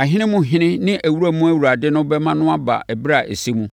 Ahene mu Ɔhene ne Awura mu Awurade no bɛma no aba ɛberɛ a ɛsɛ mu.